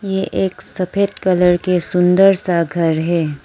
ये एक सफेद कलर के सुंदर सा घर है।